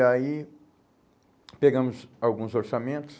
E aí pegamos alguns orçamentos.